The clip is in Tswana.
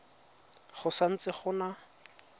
go sa ntse go na